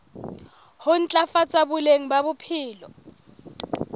ho ntlafatsa boleng ba bophelo